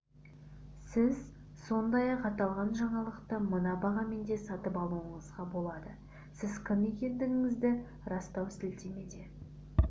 сіз сондай-ақ аталған жаңалықты мына бағамен де сатып алуыңызға болады сіз кім екендігіңізді растау сілтемесіне